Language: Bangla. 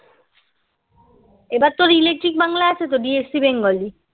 এবার তোর electric বাংলা আছে তো DSC bengali